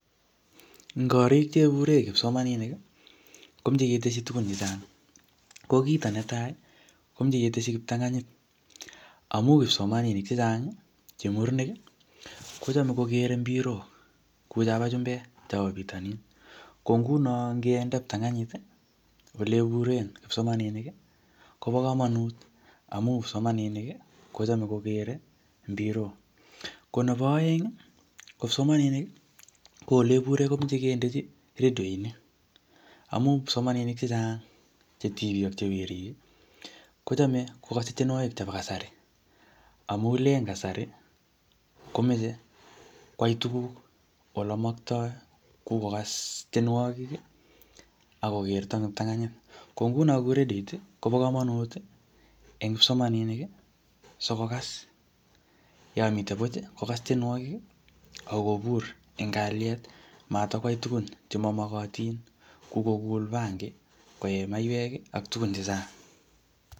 Eng korik chebure kipsomaninik, komeche keteshi tugun chechang. Ko kito netai, komeche keteshi kiptanganyit, amu kipsomaninik chechang, che murenik, kochame kokere mpirok, kou chobo chumbek, chobo bitonin. Ko nguno ngende kiptanganyit ole buree kipsomaninik, kobo komonut amu kipsomaninik, kochome kokere mpirok. Ko nebo aeng, ko kipsomaninik, ko ole bure komeche kendechi redionik. Amu kipsomaninik chechang che tibik ak che werik, kochame kokase tienwogik chebo kasari. Amu len kasari, komeche kwai tuguk ole maktoi. Kokas tienwogik, akokerto eng kiptanganyit. Ko nguno, kou rediot kobo komonut eng kipsomaninik, sikokas yomite buch, kokas tienwogik, akobur eng kalyet. Matikwai tugun che mamagatin kou kokul bangi, koe maiywek, ak tugun chechang.